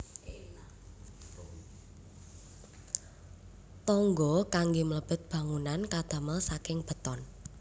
Tangga kanggé mlebet bangunan kadamel saking beton